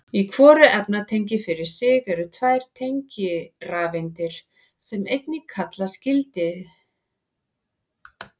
Í hvoru efnatengi fyrir sig eru tvær tengirafeindir sem einnig kallast gildisrafeindir.